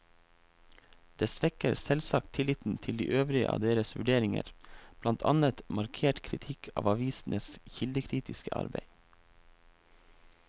Det svekker selvsagt tilliten til de øvrige av deres vurderinger, blant annet markert kritikk av avisenes kildekritiske arbeid.